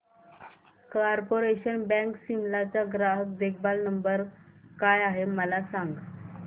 corporation bank Shimla चा ग्राहक देखभाल नंबर काय आहे मला सांग